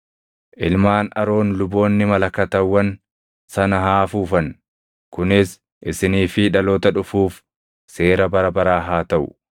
“Ilmaan Aroon luboonni malakatawwan sana haa afuufan. Kunis isinii fi dhaloota dhufuuf seera bara baraa haa taʼu.